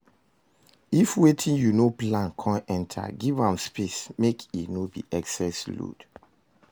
If wetin yu no plan con enter, giv am space mek e no be excess load